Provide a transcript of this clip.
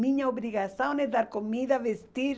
Minha obrigação é dar comida, vestir.